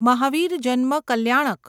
મહાવીર જન્મ કલ્યાણક